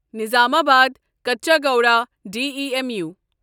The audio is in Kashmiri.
نظامآباد کچاگوڑا ڈیمو